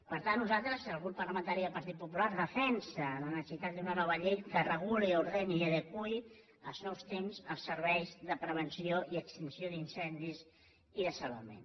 per tant nosaltres el grup parlamentari del partit popular defensem la necessitat d’una nova llei que reguli ordeni i adeqüi als nous temps els serveis de prevenció i d’extinció d’incendis i de salvament